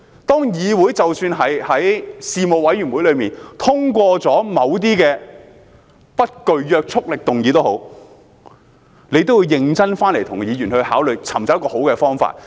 即使議會在事務委員會層面通過了某些不具約束力的議案，政府也要認真與議員商討，尋找一個好的方法。